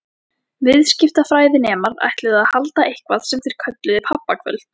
Viðskiptafræðinemar ætluðu að halda eitthvað sem þeir kölluðu pabbakvöld.